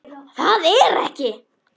Það er ekki.